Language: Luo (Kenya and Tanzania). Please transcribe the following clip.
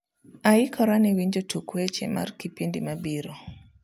aikora ne winjo tuke weche mar kipindi mabiro